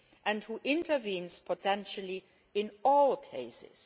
and who intervenes potentially in all cases.